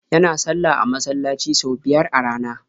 Yana sallah a masallaci sau biyar a rana.